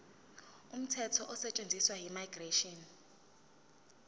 umthetho osetshenziswayo immigration